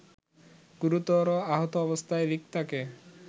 গুরুতর আহত অবস্থায় রিক্তাকে